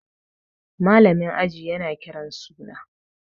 malamin aji yana Kiran suna